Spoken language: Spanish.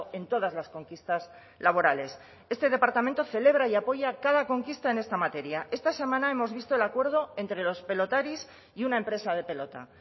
en todas las conquistas laborales este departamento celebra y apoya cada conquista en esta materia esta semana hemos visto el acuerdo entre los pelotaris y una empresa de pelota